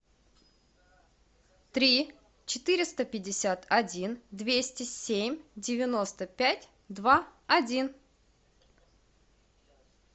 три четыреста пятьдесят один двести семь девяносто пять два один